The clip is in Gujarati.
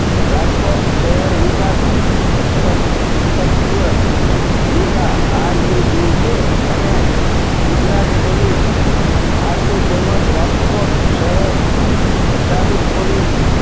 રાજકોટ શહેર વિકાસ સત સ્થત્ય ruda r u d a અને ગુજરાત police આથી તેમજ રાજકોટ શહેર traffic police